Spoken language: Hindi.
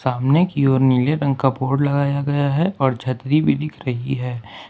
सामने की और नीले रंग का बोर्ड लगाया गया है और छतरी भी दिख रही है।